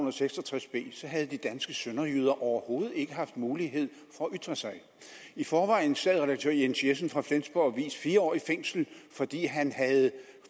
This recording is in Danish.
og seks og tres b så havde de danske sønderjyder overhovedet ikke haft mulighed for at ytre sig i forvejen sad redaktør jens jessen fra flensborg avis fire år i fængsel fordi han havde